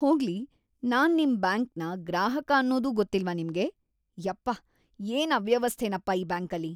ಹೋಗ್ಲಿ, ನಾನ್ ನಿಮ್ ಬ್ಯಾಂಕ್ನ ಗ್ರಾಹಕ ಅನ್ನೋದೂ ಗೊತ್ತಿಲ್ವಾ ನಿಮ್ಗೆ? ಯಪ್ಪ, ಏನ್‌ ಅವ್ಯವಸ್ಥೆನಪ ಈ ಬ್ಯಾಂಕಲ್ಲಿ..